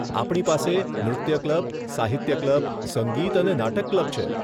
આપણી પાસે નૃત્ય ક્લબ, સાહિત્ય ક્લબ, સંગીત અને નાટક ક્લબ છે.